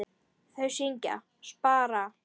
Þau syngja: SPARA!